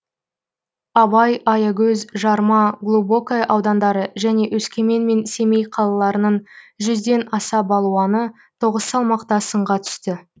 абай аягөз жарма глубокое аудандары және өскемен мен семей қалаларының жүзден аса балуаны тоғыз салмақта сынға түсті